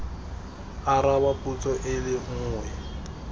araba potso e le nngwe